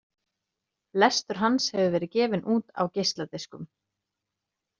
Lestur hans hefur verið gefinn út á geisladiskum.